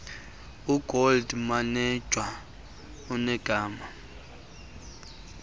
ugold mametja unegama